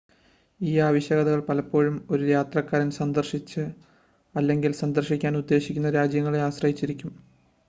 ഈ ആവശ്യകതകൾ പലപ്പോഴും ഒരു യാത്രക്കാരൻ സന്ദർശിച്ച അല്ലെങ്കിൽ സന്ദർശിക്കാൻ ഉദ്ദേശിക്കുന്ന രാജ്യങ്ങളെ ആശ്രയിച്ചിരിക്കും